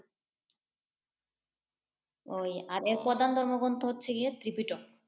ওই এর প্রধান ধর্মগ্রন্থ হচ্ছে গিয়ে ত্রিপিটক।